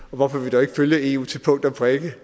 og hvorfor vi dog ikke følger eu til punkt og prikke det